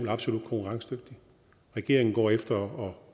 absolut konkurrencedygtig regeringen går efter